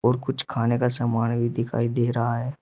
कुछ खाने का सामान भी दिखाई दे रहा है।